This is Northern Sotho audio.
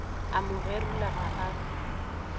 a mo gerula ga a